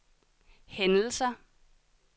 hændelser